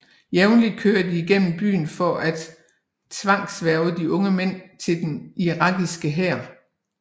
Jævntligt kører de igennem byen for at tvangshverve de unge mænd til den irakiske hær